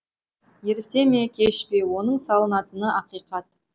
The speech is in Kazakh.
ерте ме кеш пе оның салынатыны ақиқат